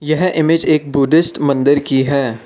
यह इमेज एक बुद्धिस्ट मंदिर की है।